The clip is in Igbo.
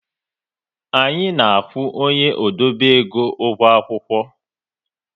Anyị na-akwụ onye odobe ego ụgwọ akwụkwọ